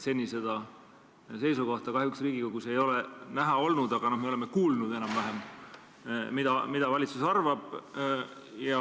Seni seda seisukohta kahjuks Riigikogus ei ole näha olnud, aga me oleme kuulnud enam-vähem, mida valitsus arvab.